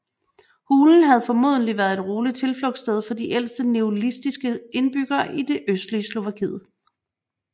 Hulen havde formodentlig været et roligt tilflugtssted for de ældste neolitiske indbyggere i det østlige Slovakiet